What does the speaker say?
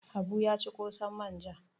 Habu ya ci ƙosan manja.